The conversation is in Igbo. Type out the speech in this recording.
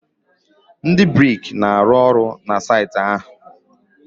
ndị brik na-arụ ọrụ na saịtị ahụ?